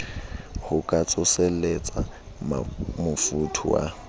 ho ka tsoselletsa mofuthu wa